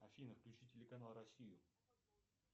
афина включи телеканал россию